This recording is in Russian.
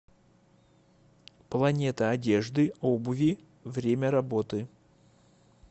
планета одежды обуви время работы